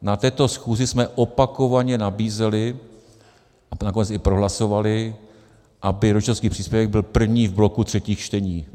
Na této schůzi jsme opakovaně nabízeli a nakonec i prohlasovali, aby rodičovský příspěvek byl první v bloku třetích čtení.